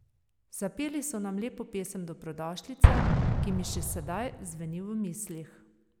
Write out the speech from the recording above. Zapeli so nam lepo pesem dobrodošlice, ki mi še sedaj zveni v mislih.